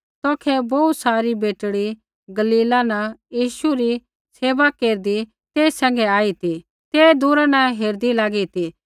तौखै बोहू सारी बेटड़ी गलीला न यीशु री सेवा केरदी तेई सैंघै आई ती ते दूरा न हेरदी लागी ती